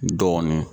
Dɔɔnin